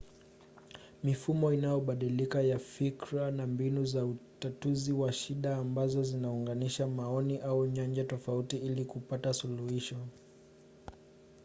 mifumo inayobadilika ya fikira ni mbinu za utatuzi wa shida ambazo zinaunganisha maoni au nyanja tofauti ili kupata suluhisho